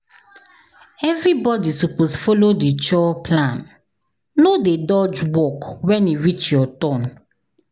Everybody suppose follow the chore plan, no dey dodge work when e reach your turn.